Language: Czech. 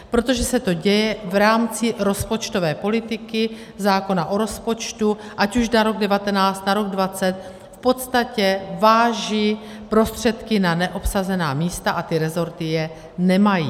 Protože se to děje v rámci rozpočtové politiky, zákona o rozpočtu, ať už na rok 2019, na rok 2020, v podstatě vážu prostředky na neobsazená místa a ty resorty je nemají.